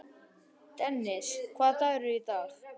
Dennis, hvaða dagur er í dag?